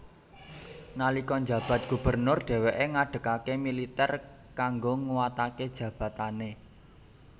Nalika njabat gubernur dhèwèké ngadegaké militèr kanggo nguwataké jabatané